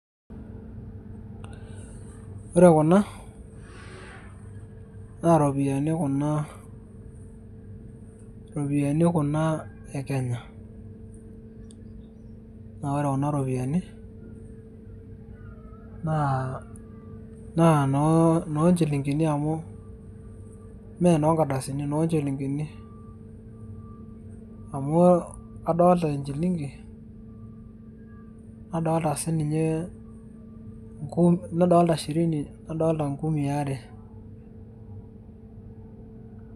ore kuna naa iropiyiani kuna iropiyiani e kenya naa ore kuna ropiyiani naa noo inchilingini amu mee noo nkardasini noo nchilingini amu adolita enchilingi nadolita siininye nadolita shirini nadolita inkumii are.